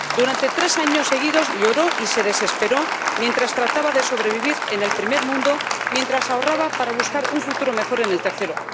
Durante tres años seguidos lloró y se desesperó mientras trataba de sobrevivir en el primer mundo, mientras ahorraba para buscar un futuro mejor en el tercero.